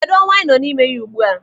Kedụ, ọnwa anyị nọ n'ime ya ugbu a?